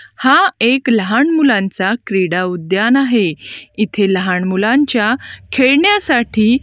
हा एक लहान मुलांचा क्रीडा उद्यान आहे इथे लहान मुलांच्या खेळण्यासाठी--